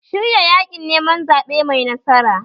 Shirya yaƙin neman zaɓe mai nasara!